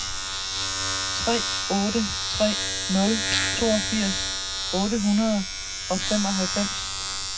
tre otte tre nul toogfirs otte hundrede og femoghalvfems